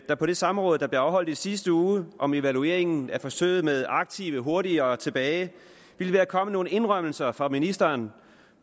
der på det samråd der blev afholdt i sidste uge om evaluering af forsøget med aktive hurtigere tilbage ville være kommet nogle indrømmelser fra ministeren